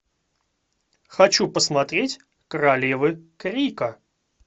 хочу посмотреть королевы крика